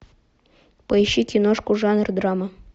поищи киношку жанр драма